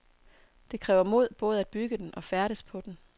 Det kræver mod både at bygge den og færdes på den.